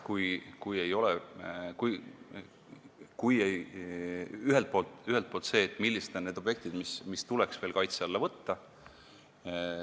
Ühelt poolt see, millised on need objektid, mis tuleks veel kaitse alla võtta.